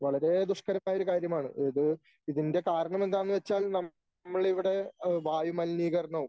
വളരെ ദുഷ്കരമായൊരു കാര്യമാണ് ഇത് ഇതിൻ്റെ കാരണം എന്താന്ന് വെച്ചാൽ നമ്മളിവിടെ ഏഹ് വായുമലിനീകരണവും